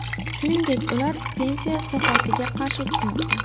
Shuningdek, ular pensiya islohotiga qarshi chiqmoqda.